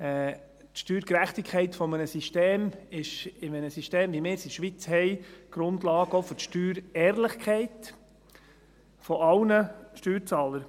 Die Steuergerechtigkeit eines Systems ist in einem System, wie wir es in der Schweiz haben, auch Grundlage der Steuerehrlichkeit aller Steuerzahler.